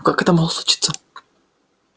но как это могло случиться